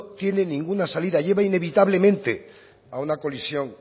tiene ninguna salida lleva inevitablemente a una colisión